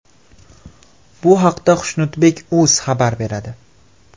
Bu haqda Xushnudbek.uz xabar beradi .